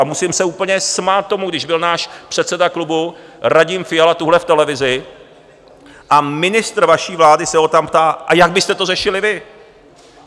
A musím se úplně smát tomu, když byl náš předseda klubu Radim Fiala tuhle v televizi a ministr vaší vlády se ho tam ptá: A jak byste to řešili vy?